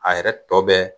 A yɛrɛ tɔ bɛɛ